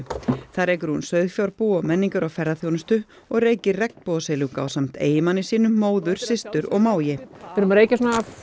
þar rekur Guðrún sauðfjárbú og menningar og ferðaþjónustu og reykir regnbogasilung ásamt eiginmanni sínum móður systur og mági við erum að reykja svona